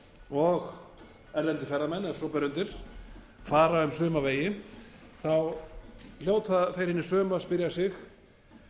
og erlendir ferðamenn ef svo ber undir fara um suma vegi þá hljóta þeir hinir sömu að spyrja sig